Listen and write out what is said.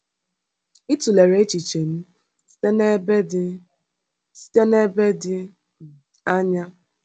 Ị tụlere echiche m site n’ebe dị site n’ebe dị um anya.